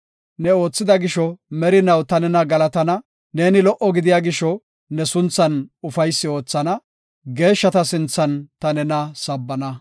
Ne oothida gisho merinaw ta nena galatana; neeni lo77o gidiya gisho ne sunthan ufaysi oothana; geeshshata sinthan ta nena sabbana.